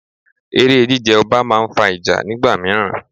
Eré jí jẹ ọba máa ń fa ìjà nígbà míràn.